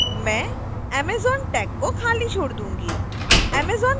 मैं amazon tag को खाली छोडूंगी